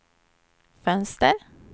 fönster